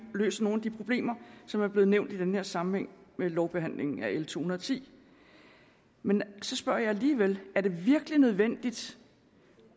løser nogle af de problemer som er blevet nævnt i sammenhæng med lovbehandlingen af l to hundrede og ti men så spørger jeg alligevel er det virkelig nødvendigt